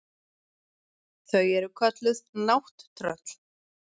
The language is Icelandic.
Þau eru kölluð nátttröll.